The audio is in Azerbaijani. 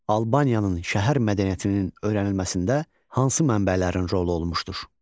Albaniyanın şəhər mədəniyyətinin öyrənilməsində hansı mənbələrin rolu olmuşdur?